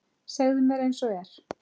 Segðu mér einsog er.